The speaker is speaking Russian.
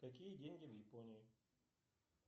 какие деньги в японии